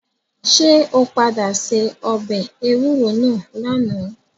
Ṣé o padà se ọbẹ̀ ewúro náà lánàá.